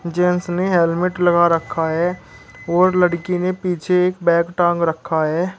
Gents ने helmet लगा रखा है और लड़की ने पीछे एक बैग टांग रखा है।